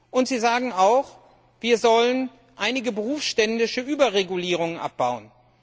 Und Sie sagen auch, wir sollen einige berufsständische Überregulierungen abbauen.